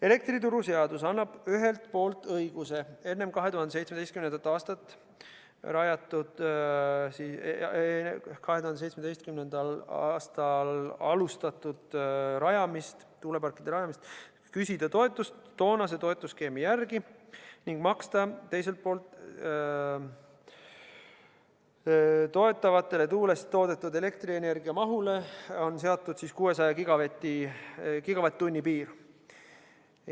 " Elektrituruseadus annab ühelt poolt õiguse enne 2017. aastat rajatud tuuleparkidele küsida toetust toonase toetusskeemi järgi ning teiselt poolt on toetatavatele tuuleparkidele seatud tuuleenergiast toodetud elektrienergia mahule 600 gigavatt-tunni piir.